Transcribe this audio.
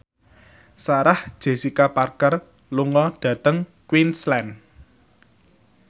Sarah Jessica Parker lunga dhateng Queensland